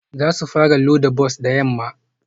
Za su fara loda bas da yamma